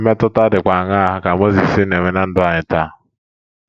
Mmetụta dịkwa aṅaa ka Mozis na - enwe ná ndụ anyị taa?